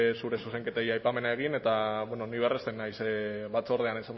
zure zuzenketei aipamena egin eta bueno ni berresten naiz batzordean